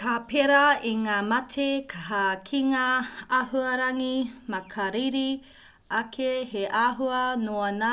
ka pērā i ngā mate hā ki ngā āhuarangi makariri ake he āhua noa ngā